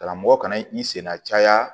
Karamɔgɔ kana i senna caya